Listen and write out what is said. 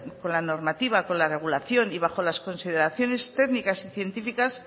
con la normativa con la regulación y bajo con las consideraciones técnicas y científicas